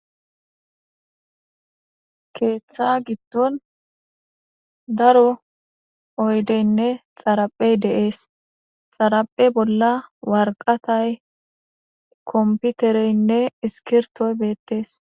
keeththa giddon daro oydeynne xaraphey deees xaraphe bolla warqatay komputereynne iskirtoy beettees.